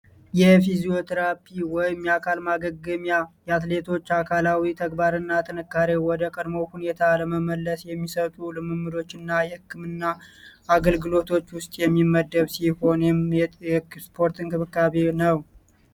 የፊዚዮትራፒ ወይም አካል ማገገሚያ የአትሌቶች አካላዊ ተግባር እና ጥንካሬው ወደ ቀድሞው ሁኔት ለመመለስ የሚሰጡ ልምምዶች እና የህክምና አገልግሎቶች ውስጥ የሚመደብ ሲሆን፤ ይህም የስፖርት እንክብካቤ ነው።